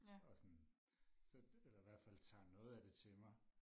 og sådan så eller i hvert fald tager noget af det til mig